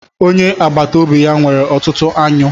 Onye agbata obi ya nwere ọtụtụ aṅụ.